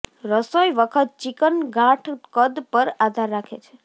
રસોઈ વખત ચિકન ગાંઠ કદ પર આધાર રાખે છે